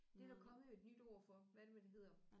Det er der kommet et nyt ord for hvad er det nu det hedder